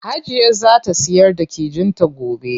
Hajiya zaa ta siyar da kijin ta gobe.